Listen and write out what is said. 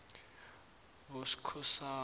boskhosana